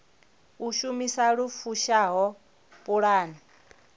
u shumisa lu fushaho pulane